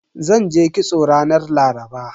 Zanje kitso ranar Laraba.